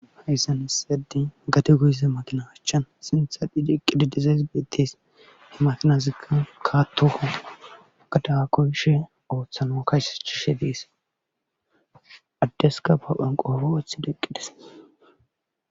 hayssan essedi gate goyise makina achchan sintha dhiidiqqidi dizayss beettes he makinazikka kaattoo agadaga koyshe ooththano kayse shishe dees addeska pa phanqo obowethi deqqides